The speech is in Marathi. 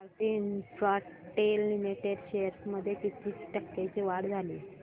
भारती इन्फ्राटेल लिमिटेड शेअर्स मध्ये किती टक्क्यांची वाढ झाली